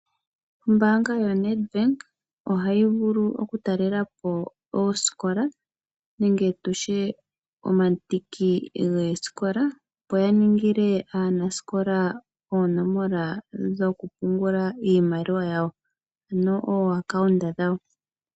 Ombaanga yoNedbank ohayi vulu oku talelapo ooikola nenge omandiki goosikola, opo ya ninge aanasikola oonomola dhokupungula iimaliwa yawo.